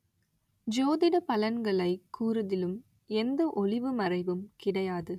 ஜோதிட பலன்களைக் கூறுதிலும் எந்த ஒளிவு மறைவும் கிடையாது